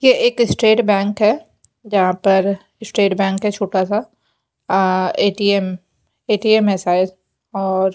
ये एक State Bank है जहां पर स्टेट बैंक है छोटासा आं ए_टी_एम ए_टी_एम है शायद और--